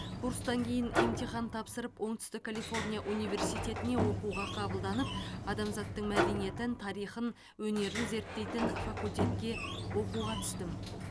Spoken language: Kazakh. курстан кейін емтихан тапсырып оңтүстік калифорния университетіне оқуға қабылданып адамзаттың мәдениетін тарихын өнерін зерттейтін факультетке оқуға түстім